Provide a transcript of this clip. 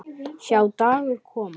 Sjá dagar koma